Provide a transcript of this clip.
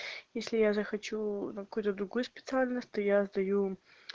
если я захочу на какую-то другую специальность то я сдаю